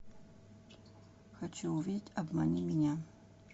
хочу увидеть обмани меня